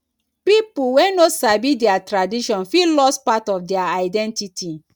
pipo wey no sabi dia tradition fit lose part of dia identity